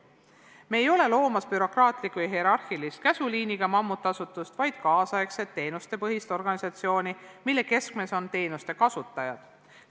Me ei ole loomas bürokraatlikku ja hierarhilist käsuliiniga mammutasutust, vaid kaasaegset teenustepõhist organisatsiooni, mille keskmes on teenuste kasutajad.